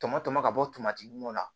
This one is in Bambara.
Tɔmɔ tɔmɔ ka bɔ tamati mun na